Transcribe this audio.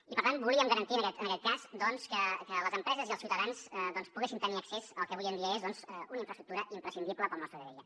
i per tant volíem garantir en aquest cas doncs que les empreses i els ciutadans poguessin tenir accés al que avui en dia és una infraestructura imprescindible per al nostre dia a dia